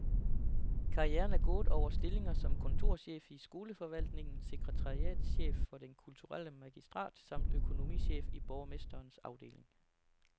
Karrieren er gået over stillinger som kontorchef i skoleforvaltningen, sekretariatschef for den kulturelle magistrat samt økonomichef i borgmesterens afdeling.